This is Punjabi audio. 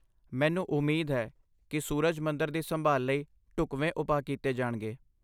ਮੈਨੂੰ ਉਮੀਦ ਹੈ ਕਿ ਸੂਰਜ ਮੰਦਰ ਦੀ ਸੰਭਾਲ ਲਈ ਢੁਕਵੇਂ ਉਪਾਅ ਕੀਤੇ ਜਾਣਗੇ।